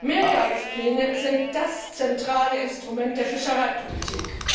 Mehrjahrespläne sind das zentrale Instrument der Fischereipolitik!